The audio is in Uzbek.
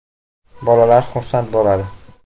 Bolalar xursand bo‘ladi.